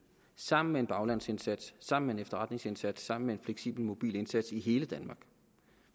sammen med en baglandsindsats sammen med en efterretningsindsats sammen med en fleksibel mobil indsats i hele danmark